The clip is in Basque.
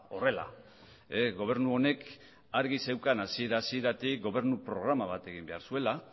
horrela gobernu honek argi zeukan hasiera hasieratik gobernu programa bat egin behar zuela